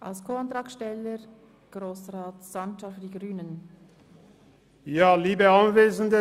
Als Co-Antragsteller hat nun Grossrat Sancar für die Grünen das Wort.